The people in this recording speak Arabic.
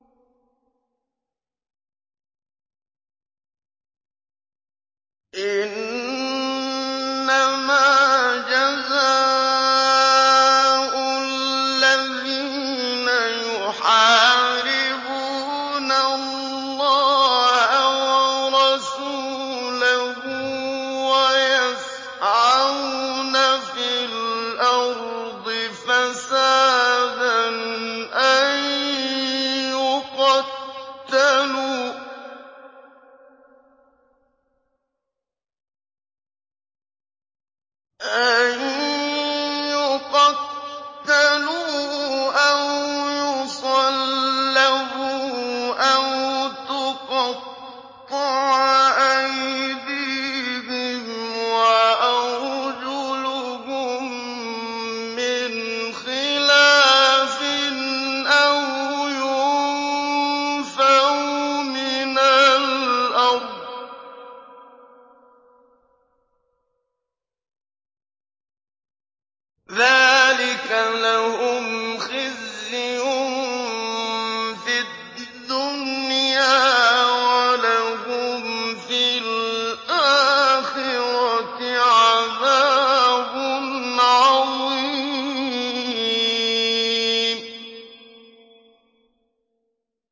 إِنَّمَا جَزَاءُ الَّذِينَ يُحَارِبُونَ اللَّهَ وَرَسُولَهُ وَيَسْعَوْنَ فِي الْأَرْضِ فَسَادًا أَن يُقَتَّلُوا أَوْ يُصَلَّبُوا أَوْ تُقَطَّعَ أَيْدِيهِمْ وَأَرْجُلُهُم مِّنْ خِلَافٍ أَوْ يُنفَوْا مِنَ الْأَرْضِ ۚ ذَٰلِكَ لَهُمْ خِزْيٌ فِي الدُّنْيَا ۖ وَلَهُمْ فِي الْآخِرَةِ عَذَابٌ عَظِيمٌ